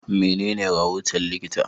Menene rahoton likita?